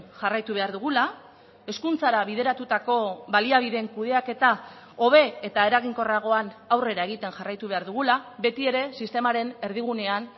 jarraitu behar dugula hezkuntzara bideratutako baliabideen kudeaketa hobe eta eraginkorragoan aurrera egiten jarraitu behar dugula betiere sistemaren erdigunean